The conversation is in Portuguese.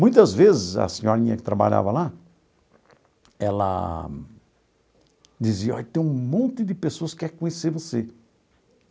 Muitas vezes, a senhorinha que trabalhava lá, ela dizia, olha, tem um monte de pessoas que quer conhecer você.